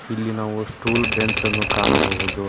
ಇಲ್ಲಿ ನಾವು stool bench ಅನ್ನು ಕಾಣಬಹುದು.